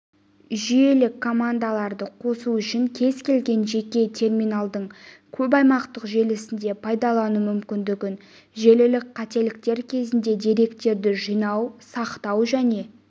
жүйелік командаларды қосу үшін кез келген жеке терминалдың көп аймақтық желісінде пайдалану мүмкіндігін желілік қателіктер кезінде деректерді жинау сақтау және